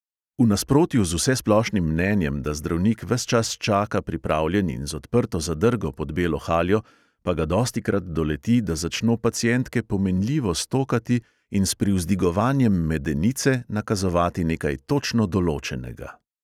V nasprotju z vsesplošnim mnenjem, da zdravnik ves čas čaka pripravljen in z odprto zadrgo pod belo haljo, pa ga dostikrat doleti, da začno pacientke pomenljivo stokati in s privzdigovanjem medenice nakazovati nekaj točno določnega.